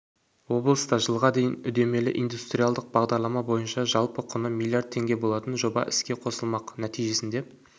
облыста жылға дейін үдемелі индустриалық бағдарлама бойынша жалпы құны млрд теңге болатын жоба іске қосылмақ нәтижесінде